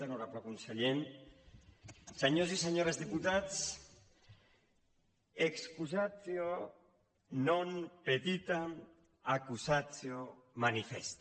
honorable conseller senyors i senyores diputats excusatio non petita accusatio manifesta